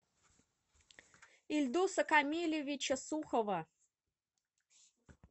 ильдуса камилевича сухова